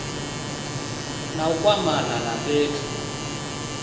na u kwamana na fhethu